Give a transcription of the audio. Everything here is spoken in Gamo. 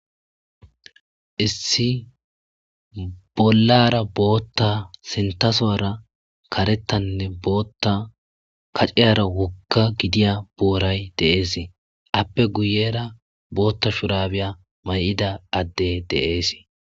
Issi bollara bota sinitha soora karethanee bota kacayra woga gidiya boray de'es eyape guyera bota shurabey maida adey de'es